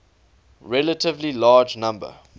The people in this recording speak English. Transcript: relatively large number